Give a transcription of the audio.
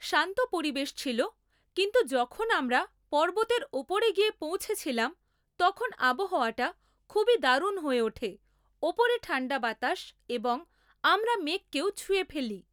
শান্ত পরিবেশ ছিলো, কিন্তু যখন আমরা পর্বতের ওপরে গিয়ে পৌঁছেছিলাম তখন আবহাওয়াটা খুবই দারুন হয়ে ওঠে, ওপরে ঠাণ্ডা বাতাস এবং আমরা মেঘকেও ছুঁয়ে ফেলি ।